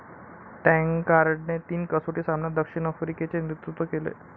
टँकार्डने तीन कसोटी सामन्यात दक्षिण आफ्रिकेचे नेतृत्व केले.